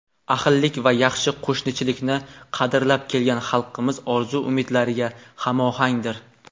ahillik va yaxshi qo‘shnichilikni qadrlab kelgan xalqimiz orzu-umidlariga hamohangdir.